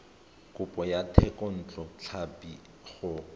kopo ya thekontle tlhapi go